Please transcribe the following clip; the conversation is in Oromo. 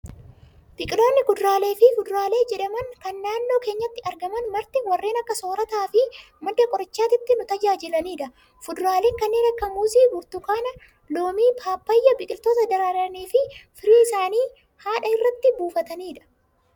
Biqiloonni kuduraalee fi fuduraalee jedhaman, kan naannoo keenyatti argaman marti warreen akka soorataa fi madda qorichootaatti nu tajaajilanidha. Fuduraaleen kanneen akka muuzii, burtukaana, loomii, pappaayyaa, biqiloota daraaranii firii isaanii haadha irratti buufatanidha.